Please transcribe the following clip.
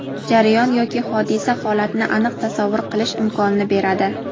jarayon yoki hodisa-holatni aniq tasavvur qilish imkonini beradi.